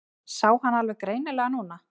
Sá hann alveg greinilega núna.